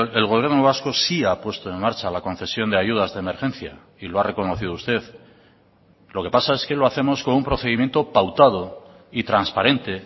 el gobierno vasco sí ha puesto en marcha la concesión de ayudas de emergencia y lo ha reconocido usted lo que pasa es que lo hacemos con un procedimiento pautado y transparente